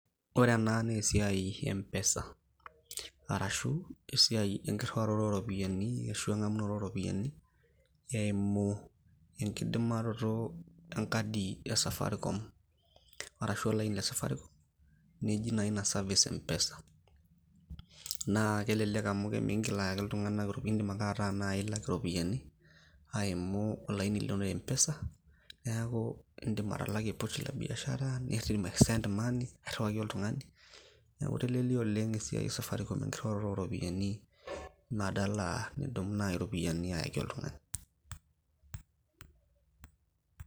ore ena naa esiai e mpesa arashu esiai enkirriwaroto oropiyiani ashu eng'amunoto eimu enkidimaroto enkadi e safaricom arashu olaini le safaricom neji naa ina service mpesa naa kelelek amu miingil ayaki iltung'anak, indim ake ataa naaji ilak iropiyiani aimu olaini lino le mpesa niaku indim atalakie pochi la biashara nindim ae send money nirriwaki oltung'ani neeku itelelia oleng esiai safaricom enkirriwaroto oropiyiani badala nidumu naaji iropiyiani ayaki oltung'ani.